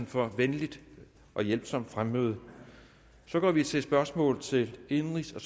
for venligt og hjælpsomt fremmøde så går vi til spørgsmål til indenrigs og